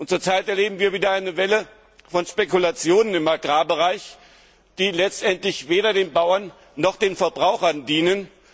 Zurzeit erleben wir wieder eine Welle von Spekulationen im Agrarbereich, die letztendlich weder den Bauern noch den Verbrauchern dienen.